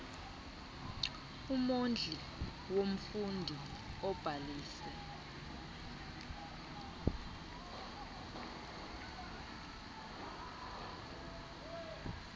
umondli womfundi obhalise